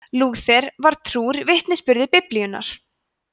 lúther var trúr vitnisburði biblíunnar